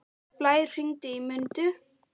Blær, hringdu í Mundu.